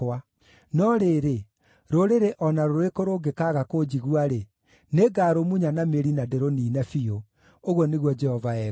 No rĩrĩ, rũrĩrĩ o na rũrĩkũ rũngĩkaaga kũnjigua-rĩ, nĩngarũmunya na mĩri na ndĩrũniine biũ,” ũguo nĩguo Jehova ekuuga.